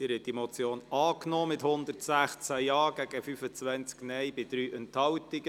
Sie haben die Motion angenommen mit 116 Ja- gegen 25 Nein-Stimmen bei 3 Enthaltungen.